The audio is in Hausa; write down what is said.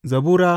Zabura Sura